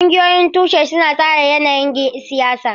Ƙungiyoyin tushe suna tsara yanayin siyasa.